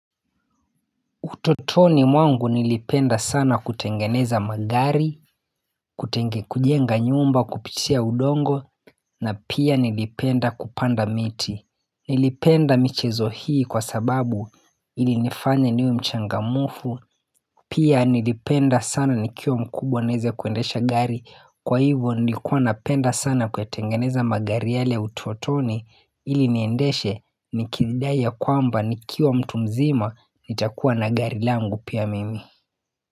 Utotoni mwangu nilipenda sana kutengeneza magari, kujenga nyumba kupitia udongo, na pia nilipenda kupanda miti. Nilipenda michezo hii kwa sababu ilinifanya niwe mchangamfu, pia nilipenda sana nikiwa mkubwa niweze kuendesha gari. Kwa hivyo nilikuwa napenda sana kuyatengeneza magari yale utotoni ili niendeshe ni kikidai ya kwamba nikiwa mtu mzima nitakuwa na gari langu pia mimi.